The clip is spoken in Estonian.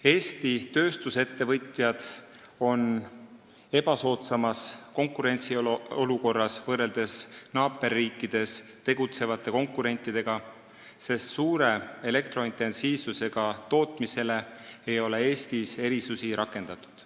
Eesti tööstusettevõtjad on ebasoodsas olukorras võrreldes naaberriikides tegutsevate konkurentidega, sest suure elektrointensiivsusega tootmisele ei ole Eestis erisusi rakendatud.